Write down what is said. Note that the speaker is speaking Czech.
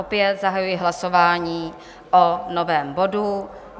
Opět zahajuji hlasování o novém bodu.